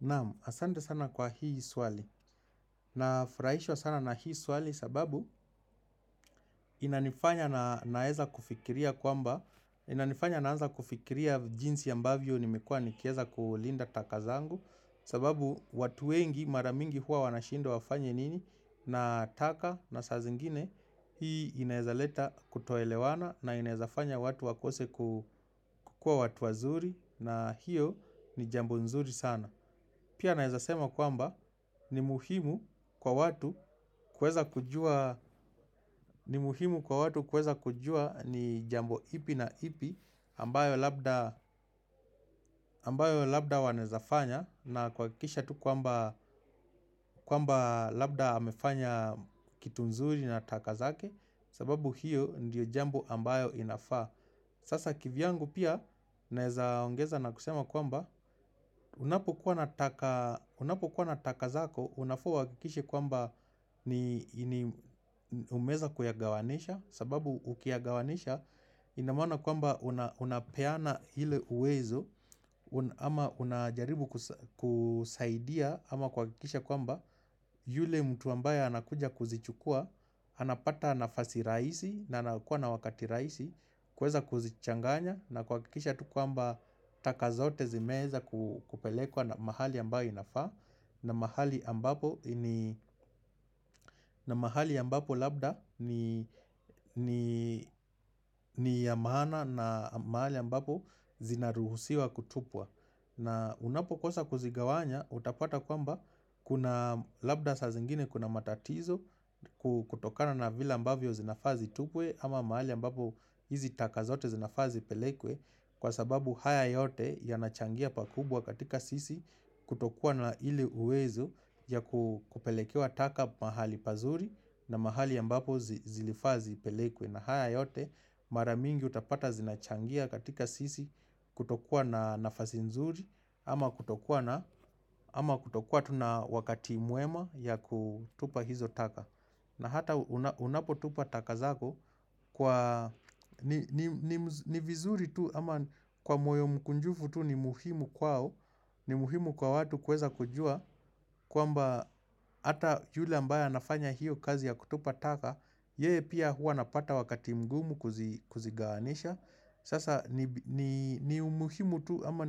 Naam asante sana kwa hii swali. Na furahishwa sana na hii swali sababu inanifanya na naweza kufikiria kwamba, inanifanya naanza kufikiria jinsi ambavyo nimekua nikiweza kulinda taka zangu sababu watu wengi maramingi huwa wanashindwa wafanya nini na taka na saa zingine hii inaeza leta kutoelewana na inaeza fanya watu wakose kukua watu wazuri na hiyo ni jambo nzuri sana. Pia nawezasema kwamba ni muhimu kwa watu kuweza kujua ni jambo ipi na ipi ambayo labda wanaezafanya na kuhakikisha tu kwamba labda amefanya kitu nzuri na takazake sababu hiyo ndiyo jambo ambayo inafaa. Sasa kivyangu pia, naezaongeza na kusema kwamba, unapo kuwa nataka zako, unafaa uhakikishe kwamba ni umeweza kuyagawanisha, sababu ukiyagawanisha, inamaana kwamba unapeana ile uwezo, ama unajaribu kusaidia, ama kuhakikisha kwamba, yule mtu ambaye anakuja kuzichukua, anapata nafasi rahisi na anakuwa na wakati rahisi kuweza kuzichanganya na kuhakikisha tukwamba Takazote zimeweza kupelekwa na mahali ambayo inafaa na mahali ambapo labda ni ya maana na mahali ambapo zinaruhusiwa kutupwa na unapo kosa kuzigawanya utapata kwamba Kuna labda saa zingine kuna matatizo kutokana na vile ambavyo zinafaa zi tupwe ama mahali ambapo hizi taka zote zinafazipelekwe kwa sababu haya yote ya nachangia pakubwa katika sisi kutokua na ili uwezo ya kupelekewa taka mahali pazuri na mahali ambapo zilifaazipelekwe na haya yote maramingi utapata zinachangia katika sisi kutokua na nafazi nzuri ama kutokua na wakati mwema ya kutupa hizo taka na hata unapo tupa takazako kwani vizuri tu ama kwa moyo mkunjufu tu ni muhimu kwao ni muhimu kwa watu kuweza kujua kwamba hata yule ambaye anafanya hiyo kazi ya kutupa taka Yeye pia hua anapata wakati mgumu kuzigawanisha Sasa ni muhimu tu ama